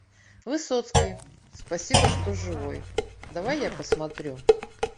высоцкий спасибо что живой давай я посмотрю